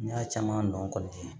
N y'a caman nɔ kɔni